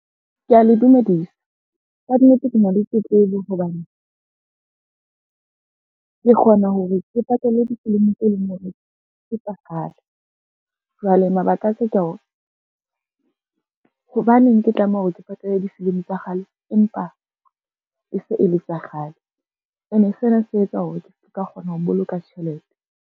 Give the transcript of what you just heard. Kea le dumedisa, kannete ke na le tletlebo hobane, ke kgona hore ke patale difilimi tse leng hore ke tsa kgale. Jwale mabaka a ka ke a hore, hobaneng ke tlameha hore ke patale difilimi tsa kgale, empa e se e le tsa kgale, ene sena se etsa hore ke ska kgona ho boloka tjhelete.